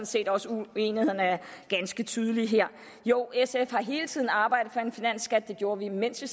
set også at uenigheden er ganske tydelig her jo sf har hele tiden arbejdet for en finansskat det gjorde vi mens vi